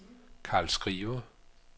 Karl Skriver